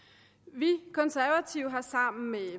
vi konservative har sammen med